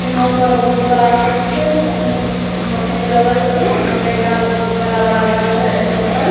यहां पर बहुत बड़ा खेत छै खेत में उम्म मकय लगल छै मकय के गाछ बहुत बड़ा-बड़ा भेए गेएले यहाँ पर।